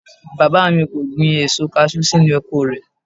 Bàbá mi kò gbin èso kaṣú sínú oko rẹ̀